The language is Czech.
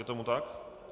Je tomu tak?